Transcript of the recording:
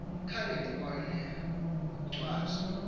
khange ndibone nkwalchwa